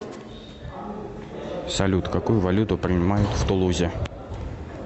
салют какую валюту принимают в тулузе